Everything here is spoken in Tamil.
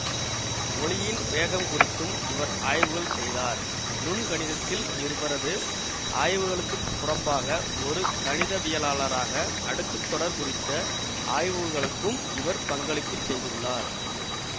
ஒலியின் வேகம் குறித்தும் இவர் ஆய்வுகள் செய்தார் நுண்கணிதத்தில் இவரது ஆய்வுகளுக்குப் புறம்பாக ஒரு கணிதவியலாளராக அடுக்கு தொடர் குறித்த ஆய்வுகளுக்கும் இவர் பங்களிப்பு செய்துள்ளார்